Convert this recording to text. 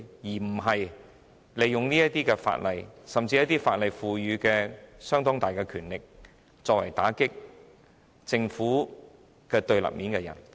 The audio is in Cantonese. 我希望政府不會利用法例或法定權力打擊處於政府對立面的人。